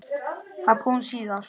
Það kom síðar.